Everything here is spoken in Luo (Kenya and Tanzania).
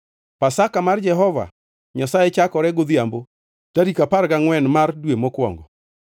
Pasaka mar Jehova Nyasaye chakore godhiambo tarik apar gangʼwen mar dwe mokwongo.